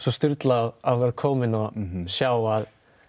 sturlað að vera kominn og sjá að